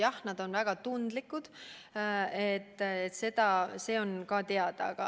Jah, need on väga tundlikud, see on ka teada.